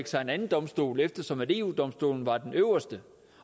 sig en anden domstol eftersom eu domstolen var den øverste